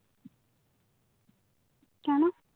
কেন